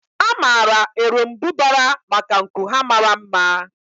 A maara erombubara maka nku ha mara mma.